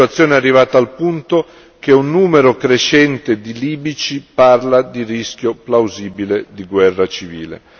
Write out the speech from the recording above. La situazione è arrivata al punto che un numero crescente di libici parla di rischio plausibile di guerra civile.